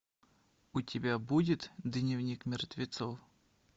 у тебя будет дневник мертвецов